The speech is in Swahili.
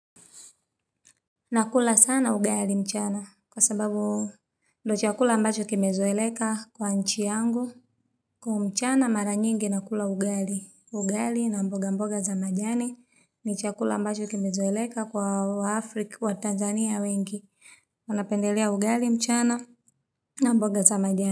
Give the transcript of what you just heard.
Nakula sana ugali mchana kwa sababu ndo chakula mbacho kimezoeleka kwa inchi yangu. Kwa mchana mara nyingi nakula ugali. Ugali na mboga mboga za majani ni chakula ambacho kimezoeleka kwa Afrika wa Tanzania wengi. Napendelea ugali mchana na mboga za majani.